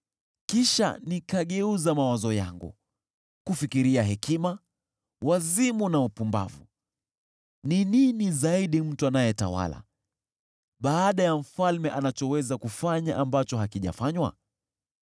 Kisha nikageuza mawazo yangu kufikiria hekima, wazimu na upumbavu. Ni nini zaidi mtu anayetawala baada ya mfalme anachoweza kufanya ambacho hakijafanywa?